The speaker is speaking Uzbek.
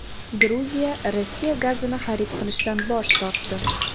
Gruziya Rossiya gazini xarid qilishdan bosh tortdi.